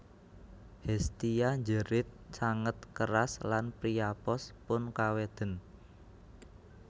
Hestia njerit sanget keras lan Priapos pun kaweden